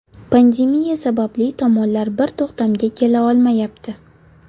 Pandemiya sababli tomonlar bir to‘xtamga kela olmayapti.